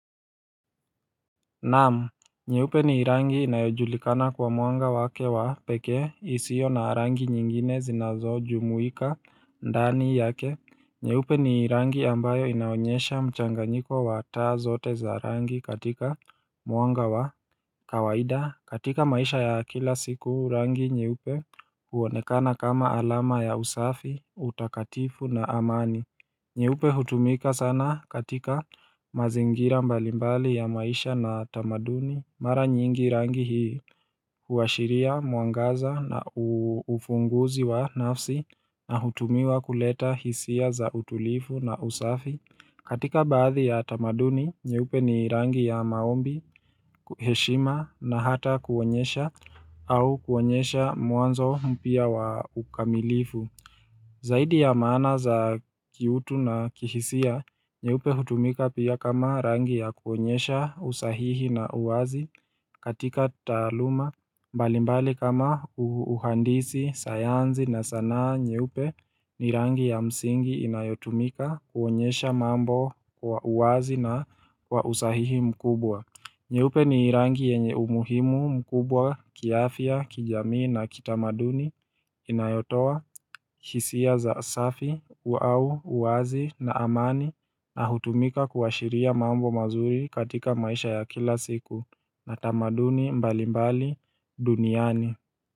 Naam nye upe ni rangi inayojulikana kwa mwanga wake wa pekee isio na rangi nyingine zinazojumuika ndani yake nyeupe ni rangi ambayo inaonyesha mchanganyiko wataa zote za rangi katika mwanga wa kawaida katika maisha ya kila siku rangi nye upe huonekana kama alama ya usafi utakatifu na amani nye upe hutumika sana katika mazingira mbalimbali ya maisha na tamaduni Mara nyingi rangi hii huashiria mwangaza na ufunguzi wa nafsi na hutumiwa kuleta hisia za utulifu na usafi katika baadhi ya tamaduni, nye upe ni rangi ya maombi, heshima na hata kuonyesha au kuonyesha mwanzo mpya wa ukamilifu Zaidi ya maana za kiutu na kihisia, nye upe hutumika pia kama rangi ya kuonyesha usahihi na uwazi katika taaluma, mbali mbali kama uhandisi, sayansi na sanaa nye upe ni rangi ya msingi inayotumika kuonyesha mambo kwa uwazi na kwa usahihi mkubwa. Nye upe ni rangi yenye umuhimu, mkubwa, kiafya, kijamii na kitamaduni, inayotoa, hisia za safi, au, uwazi na amani na hutumika kuashiria mambo mazuri katika maisha ya kila siku na tamaduni mbalimbali duniani.